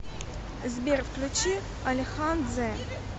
сбер включи алихан дзе